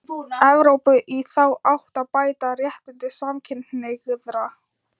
Evrópu í þá átt að bæta réttindi samkynhneigðra.